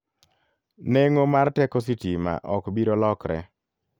Neng'o mar teko sitima ok biro lokre.